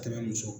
Ka tɛmɛ muso